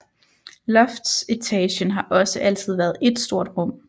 Loftsetagen har også altid været ét stort rum